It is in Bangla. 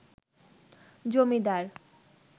জমিদার